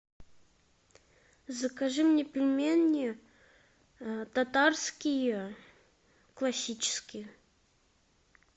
закажи мне пельмени татарские классические